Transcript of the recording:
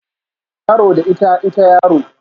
Yaro da ita, ita yaro